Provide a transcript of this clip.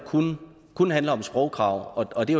kun handler om sprogkrav og det